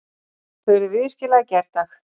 Þeir urðu viðskila í gærdag.